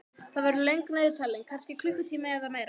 Það verður löng niðurtalning, kannski klukkutími eða meira.